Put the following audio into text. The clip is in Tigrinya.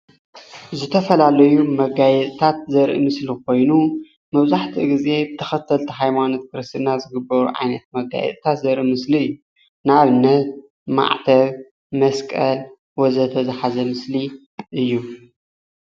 ዝተፈላለዩ ንመጋየፂታት ዘርኢ ምስሊ ኮይኑ መብዛሕትኡ ግዜ ብተከተልቲ ሃይማኖት ክርስትና ዝግበሩ ዓይነት መጋየፂታት ዘርኢ ምስሊ እዩ። ንኣብነት ማዕተብ፣ መስቀል ወዘተ ዝሓዘ ምስሊ እዩ፡፡